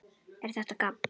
ER ÞETTA GABB?